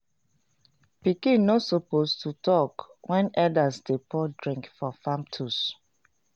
pikin no suppose talk when elders dey pour drink for farm tools.